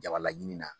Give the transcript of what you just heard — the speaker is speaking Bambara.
Jabalaɲini na